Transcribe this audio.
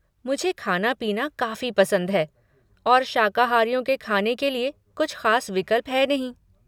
मुझे खाना पीना काफ़ी पसंद है और शाकाहारियों के खाने के लिए कुछ ख़ास विकल्प हैं नहीं।